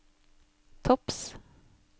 topps